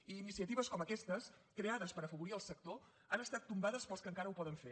i iniciatives com aquestes creades per afavorir el sector han estat tombades pels que encara ho poden fer